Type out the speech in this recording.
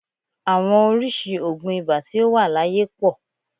Àwọn oríṣìí oògùn ibà tí ó wà láyé pọ̀